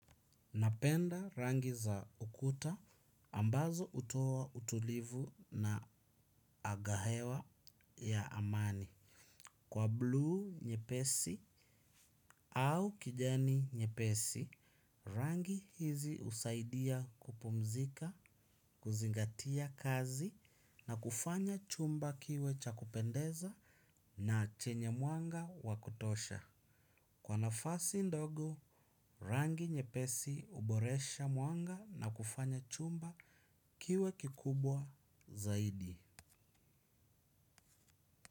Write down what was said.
Napenda rangi za ukuta ambazo hutoa utulivu na agahewa ya amani. Kwa blu nyepesi au kijani nyepesi, rangi hizi husaidia kupumzika, kuzingatia kazi na kufanya chumba kiwe cha kupendeza na chenye mwanga wakutosha. Kwa nafasi ndogo rangi nyepesi huboresha mwanga na kufanya chumba kiwe kikubwa zaidi.